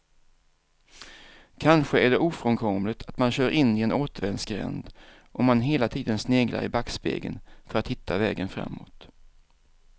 Kanske är det ofrånkomligt att man kör in i en återvändsgränd om man hela tiden sneglar i backspegeln för att hitta vägen framåt.